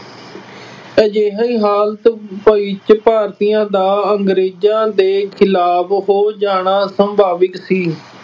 ਅਜਿਹੀ ਹਾਲਤ ਵਿੱਚ ਭਾਰਤੀਆਂ ਦਾ ਅੰਗਰੇਜ਼ਾਂ ਦੇ ਖਿਲਾਫ ਹੋ ਜਾਣਾ ਸੁਭਾਵਿਕ ਸੀ।